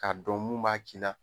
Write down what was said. K'a dɔn mun b'a kj'i la..